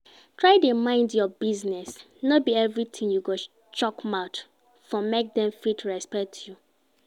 Try de mind your business no be everything you go shook mouth for make Dem fit respect you